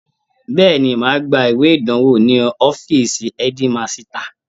Bẹ́ẹ̀ni, màá gba ìwé ìdánwò ní ọfíìsì ẹ́dímasità